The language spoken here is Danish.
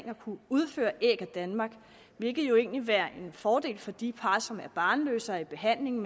at kunne udføre æg af danmark hvilket jo egentlig vil være en fordel for de par som er barnløse og i behandling